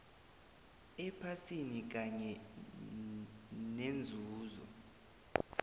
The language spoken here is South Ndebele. ephasini kanye nenzuzo